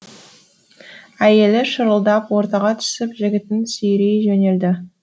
әйелі шырылдап ортаға түсіп жігітін сүйрей жөнелді